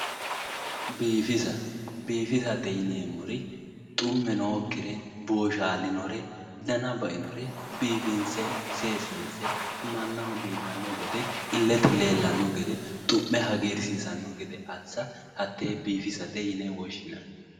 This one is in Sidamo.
biifisa biifisate yineemmore xumme nookkire boshshaalinore dana bainore biifinse seesiinse mannaho biifanno gede illete leellanno gede xu'me hagiirsiisanno gede assa hatee biifisate yine woshshinanni